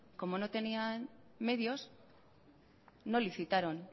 como no tenían medios no licitaron